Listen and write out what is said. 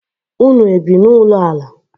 Ụnụ ebi na ụlọ ala?